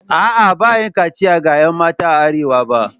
A'a, ba a yi kachiya ga 'yan mata a arewa ba